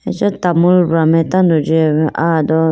acha tamool bra mai tando jiyayi bo aya do.